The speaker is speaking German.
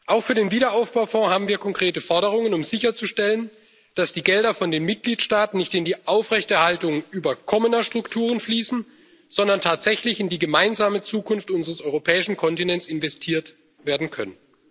Auch für den Aufbaufonds haben wir konkrete Forderungen, um sicherzustellen, dass die Gelder von den Mitgliedstaaten nicht in die Aufrechterhaltung überkommener Strukturen fließen, sondern tatsächlich in die gemeinsame Zukunft unseres europäischen Kontinents investiert werden können.